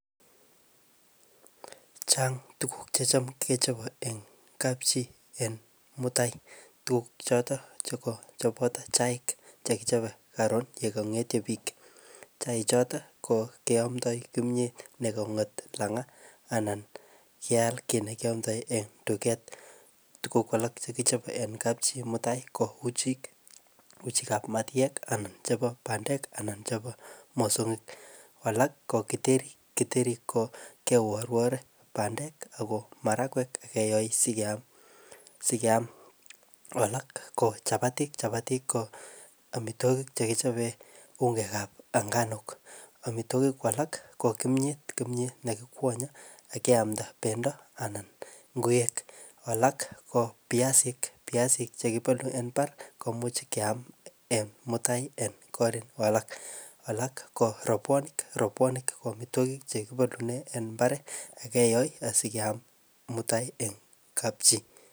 Chang tuguk chechom kechobe en kapchi en mutai, tuguk choton cheboto chaik chekichobe karun yekong'etyo biik, chaik choton ko kiomto kimyet negong'et lang'at anan keal kii nekiomto en tuget, tuguk alak chekichobe en kapchii en mutai ko uchik ab matyek anan chebo bandek anan chebo mosonyik, alak ko kiteri, kiteri ko keworwore bandek ako marakwek akeyo sikeyam, alak ko chabatik, chabatik ko omitwogik chekichobe ungek ab ng'anuk, omitwogik alak ko kimyet, kimyet nekikwonye akeamda bendo anan ng'uek, alak ko biasik, biasik chekibolu en mbar komuch keam en mutai en korik alak, alak ko robwonik, robwonik ko omitwogik chekibolune mbar ak keyoe asikeyam mutai en kapchi.